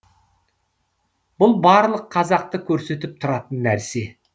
бұл барлық қазақты көрсетіп тұратын нәрсе